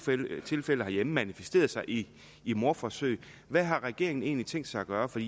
tilfælde herhjemme har manifesteret sig i i mordforsøg hvad har regeringen egentlig tænkt sig at gøre for